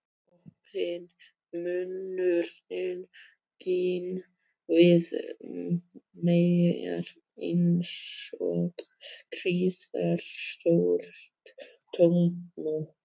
Opinn munnurinn gín við mér einsog gríðarstórt tómt op.